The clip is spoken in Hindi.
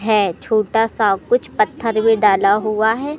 है छोटा सा कुछ पत्थर भी डाला हुआ है।